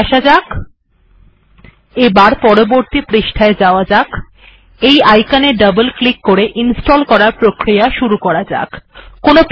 তাহলে এটি এখন বন্ধ করা যাক